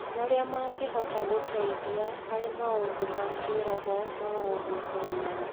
marĩa mangĩhota gũteithia harĩ maũndũ ma kĩroho ma o mũthenya.